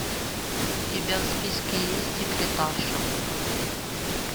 у тебя в списке есть секретарша